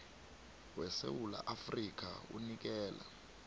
wesewula afrika unikela